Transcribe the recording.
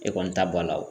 E kɔni ta b'a la wo